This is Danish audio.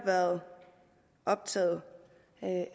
været optaget